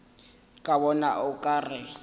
ke bona o ka re